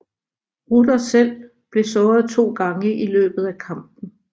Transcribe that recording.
Rudder selv blev såret to gange i løbet af kampen